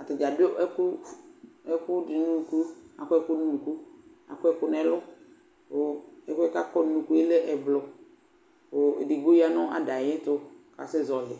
Ata dza adʋ ɛkʋf ɛkʋ dɩ nʋ unuku, akɔ ɛkʋ nʋ unuku, akɔ ɛkʋ nʋ ɛlʋ kʋ ɛkʋ yɛ kʋ akɔ nʋ unuku yɛ lɛ ɛblɔ kʋ edigbo ya nʋ ada yɛ tʋ kʋ asɛzɔɣɔlɩ